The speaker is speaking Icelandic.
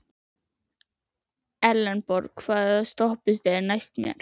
Elenborg, hvaða stoppistöð er næst mér?